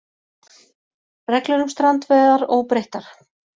Reglur um strandveiðar óbreyttar